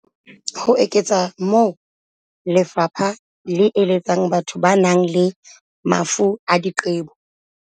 Ho eketsa moo, lefapha le eletsa batho ba nang le mafu a diqebo.